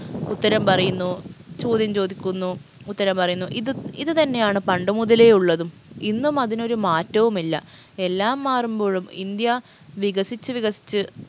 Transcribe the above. ഉത്തരം പറയുന്നു ചോദ്യം ചോദിക്കുന്നു ഉത്തരം പറയുന്നു ഇത് ഇത് തന്നെയാണ് പണ്ട് മുതലേ ഉള്ളതും ഇന്നും അതിനൊരു മാറ്റവുമില്ല എല്ലാം മാറുമ്പോഴും ഇന്ത്യ വികസിച്ചു വികസിച്ച്